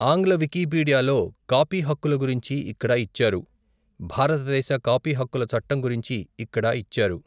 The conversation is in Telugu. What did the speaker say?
ఆంగ్ల వికీపీడియాలో కాపీహక్కుల గురించి ఇక్కడ ఇచ్చారు భారతదేశ కాపీహక్కుల చట్టం గురించి ఇక్కడ ఇచ్చారు.